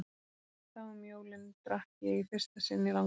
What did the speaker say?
Þá um jólin drakk ég í fyrsta sinn í langan tíma.